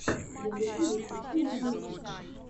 на ютубе включи мне мультики